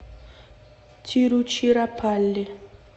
тируччираппалли